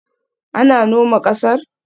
An noma ƙasar?